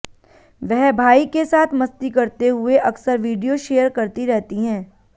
वह भाई के साथ मस्ती करते हुए अक्सर वीडियो शेयर करती रहती हैं